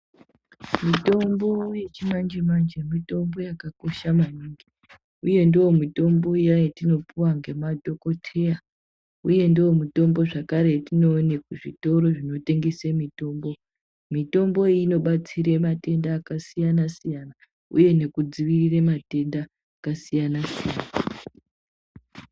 Mitombo yechimanje-manje mitombo yakakosha maningi, uye ndiyo mitombo iya yetinopuwa ngema dhogodheya uye ndiyo mitombo zvakare yetinoone kuzvitoro zvinotengese mitombo. Mitombo iyi inodetsera matenda akasiyana-siyana uye nekudzivirire matenda akasiyana-siyana.